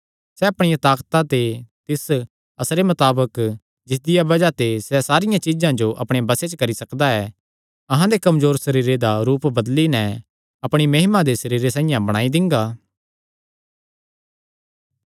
सैह़ अपणिया ताकता दे तिस असरे मताबक जिसदिया बज़ाह ते सैह़ सारियां चीज्जां जो अपणे बसे च करी सकदा ऐ अहां दे कमजोर सरीरे दा रूप बदली नैं अपणी महिमा दे सरीरे साइआं बणाई दिंगा